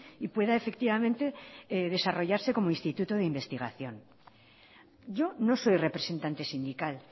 y pueda efectivamente desarrollarse como instituto de investigación yo no soy representante sindical